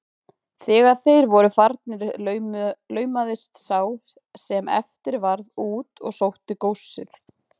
Þegar þeir voru farnir laumaðist sá sem eftir varð út og sótti góssið.